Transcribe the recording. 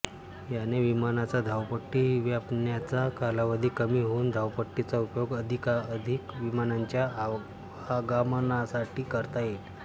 याने विमानाचा धावपट्टी व्यापण्याचा कालावधी कमी होऊन धावपट्टीचा उपयोग अधिकाधिक विमानांच्या आवागमनासाठी करता येईल